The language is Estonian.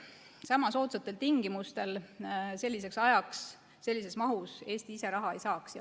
Sama soodsatel tingimustel, selliseks ajaks ja sellises mahus Eesti ise raha ei saaks.